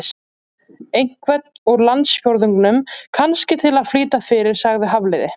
Einhvern úr landsfjórðungnum, kannski, til að flýta fyrir- sagði Hafliði.